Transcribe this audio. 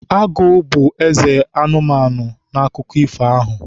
Agụ bụ eze ụmụ anụmanụ n'akụkọ ifo ahụ.